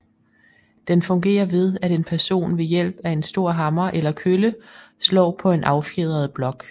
Den fungerer ved at en person ved hjælp af en stor hammer eller kølle slår på en affjedret blok